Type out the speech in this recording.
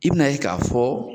I bɛn'a ye k'a fɔ